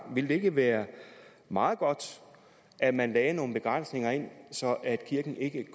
ville det ikke være meget godt at man lagde nogle begrænsninger ind så kirken ikke